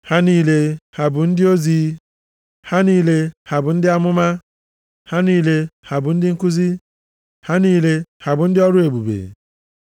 Ha niile, ha bụ ndị ozi? Ha niile ha bụ ndị amụma? Ha niile ha bụ ndị nkuzi? Ha niile ha bụ ndị ọrụ ebube?